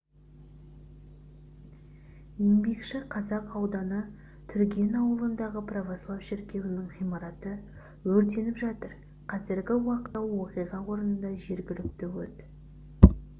еңбекші қазақ ауданы түрген ауылындағы православ шіркеуінің ғимараты өртеніп жатыр қазіргі уақытта оқиға орнында жергілікті өрт